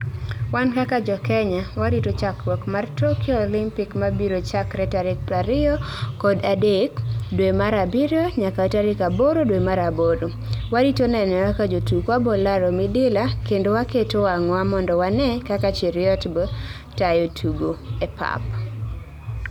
Wan kaka jokenya warito chakruok mar Tokyo olympic mabiro chakre tarik prariyokod adek adek dwe mar abiriyo nyaka tarik aboro dwe mar aboro, warito neno kaka jotukwa bolaro midila kendo waketo wangwa mondowane kaka Cheruiyot bo tayo tugo e pap